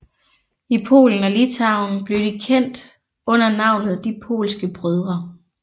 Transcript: I Polen og Litauen blev de kendt under navnet De polske brødre